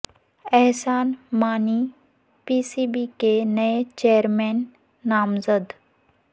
احسان Mani P C B کے نئے chairman نامزد